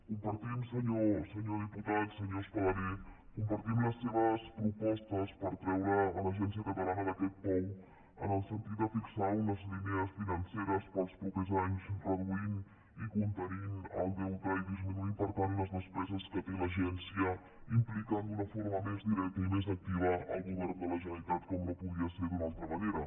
compartim senyor diputat senyor espadaler compartim les seves propostes per treure l’agència catalana d’aquest pou en el sentit de fixar unes línies financeres per als propers anys reduir i contenir el deute i disminuir per tant les despeses que té l’agència implicant d’una forma més directa i més activa el govern de la generalitat com no podia ser d’una altra manera